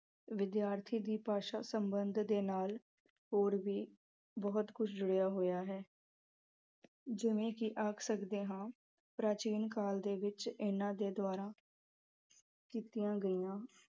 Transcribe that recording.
ਵਿਦਿਆਰਥੀ ਦੀ ਭਾਸ਼ਾ ਦੇ ਸਬੰਧ ਦੇ ਨਾਲ ਹੋਰ ਵੀ ਬਹੁਤ ਕੁਝ ਜੁੜਿਆ ਹੋਇਆ ਹੈ ਜਿਵੇਂ ਕਿ ਆਖ ਸਕਦੇ ਹਾਂ, ਪ੍ਰਚੀਨ ਕਾਲ ਦੇ ਵਿੱਚ ਇਹਨਾਂ ਦੇ ਦੁਆਰਾ ਕੀਤੀਆਂ ਗਈਆ।